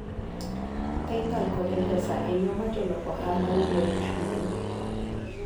Paypal kod M-Pesa en yo ma jolok ohala yudoe chudo.